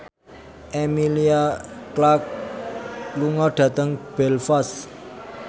Emilia Clarke lunga dhateng Belfast